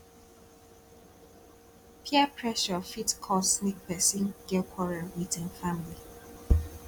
peer pressure fit cause mek pesin get quarrel wit im family